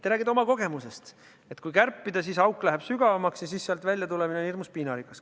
Te räägite oma kogemusest, et kui kärpida, siis läheb auk sügavamaks ja sealt väljatulemine on hirmus piinarikas.